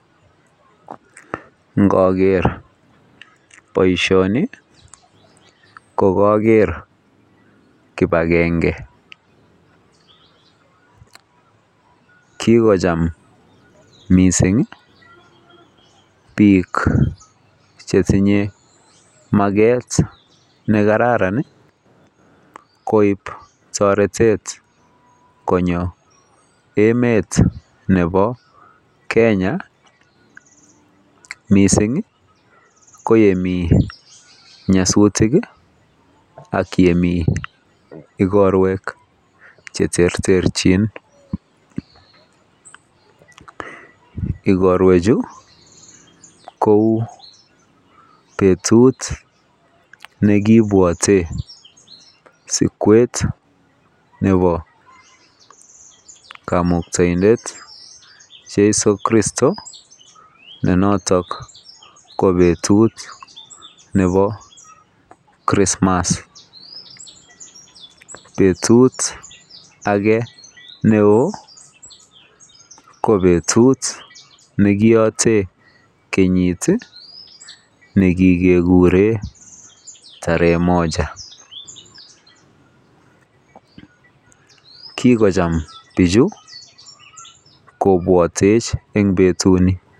Ngakeer boisioni kokaker kibagenge kikocham mising biik chetinye maget nekararan koib toretet konyo met nebo kenya mising ko yemii nyasutik ak yemii ikorwek cheterterchin ikorwechu kou betut nekibwote sikwet nebo kamuktoindet cheiso kristo nenotok ko betut nebo christmas betut ake neoo ko betut nekoyotee kenyit nekikekure tarehe moja kikocham bichu kobwatech eng betutni.